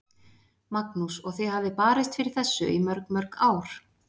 Magnús: Og þið hafið barist fyrir þessu í mörg, mörg ár?